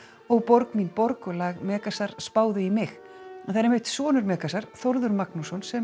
ó borg mín borg og lag Megasar spáðu í mig en það er einmitt sonur Megasar Þórður Magnússon sem